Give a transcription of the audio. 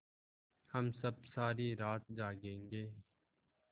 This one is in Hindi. हम सब सारी रात जागेंगे